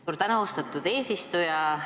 Suur tänu, austatud eesistuja!